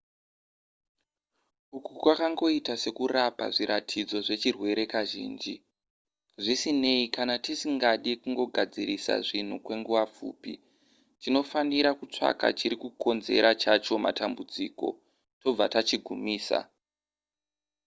uku kwakangoita sekurapa zviratidzo zvechirwere kazhinji zvisinei kana tisingade kungogadzirisa zvinhu kwenguva pfupi tinotofanira kutsvaka chiri kukonzera chacho matambudziko tobva tachigumisa